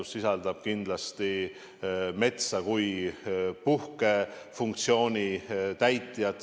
See sisaldab kindlasti metsa kui puhkefunktsiooni täitjat.